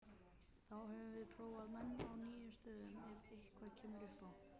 Þá höfum við prófað menn í nýjum stöðum ef eitthvað kemur upp á.